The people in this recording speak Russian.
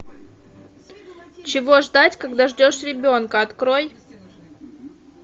чего ждать когда ждешь ребенка открой